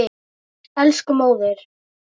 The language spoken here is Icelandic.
Elsku móðir.